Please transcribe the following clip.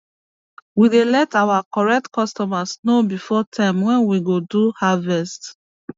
we dey let our correct customers know before time wen we go do harvest